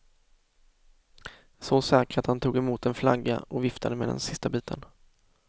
Så säker att han tog emot en flagga och viftade med den sista biten.